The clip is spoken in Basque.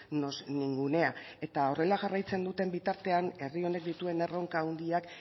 nos ningunea eta horrela jarraitzen duten bitartean herri honek dituen erronka handiak